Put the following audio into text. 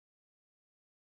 Við Garðar